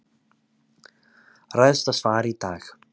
Ræðst af svari í dag